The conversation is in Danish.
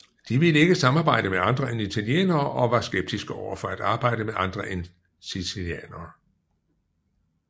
De ville ikke samarbejde med andre end italienere og var skeptiske overfor at arbejde med andre en sicilianere